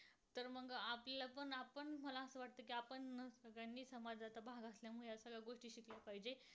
व